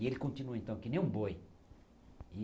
E ele continuou, então, que nem um boi.